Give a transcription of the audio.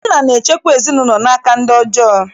Nna na-echekwa ezinaụlọ n'aka ndị ọjọọ.